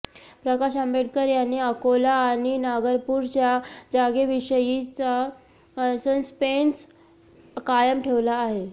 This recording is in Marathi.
प्रकाश आंबेडकर यांनी अकोला आणि नागपूरच्या जागेविषयीचा सस्पेन्स कायम ठेवला आहे